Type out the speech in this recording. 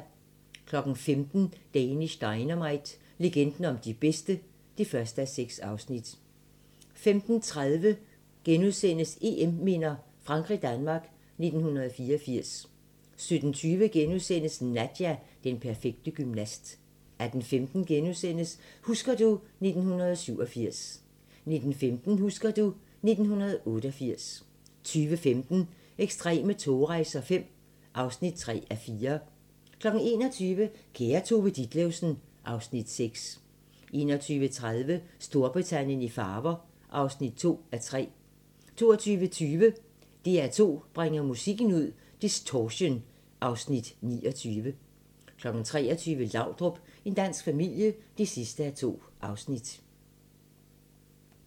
15:00: Danish Dynamite – legenden om de bedste (1:6) 15:30: EM-minder: Frankrig-Danmark 1984 * 17:20: Nadia - den perfekte gymnast * 18:15: Husker du ... 1987 * 19:15: Husker du ... 1988 20:15: Ekstreme togrejser V (3:4) 21:00: Kære Tove Ditlevsen (Afs. 6) 21:30: Storbritannien i farver (2:3) 22:20: DR2 bringer musikken ud - Distortion (Afs. 29) 23:00: Laudrup – en dansk familie (2:2)